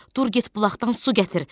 Dur get bulaqdan su gətir.